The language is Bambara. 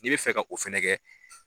Ni bɛ fɛ ka o fɛnɛ kɛ.